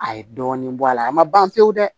A ye dɔɔnin bɔ a la a ma ban pewu dɛ